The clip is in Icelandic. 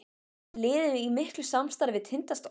Er liðið í miklu samstarfi við Tindastól?